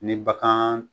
Ni bagan